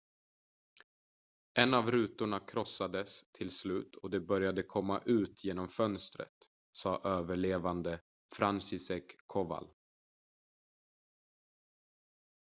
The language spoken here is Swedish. en av rutorna krossades till slut och de började komma ut genom fönstret sa överlevande franciszek kowal